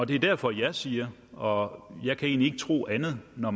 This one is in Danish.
det er derfor jeg siger og jeg kan egentlig ikke tro andet når